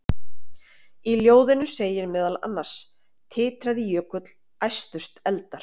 Í ljóðinu segir meðal annars: Titraði jökull, æstust eldar,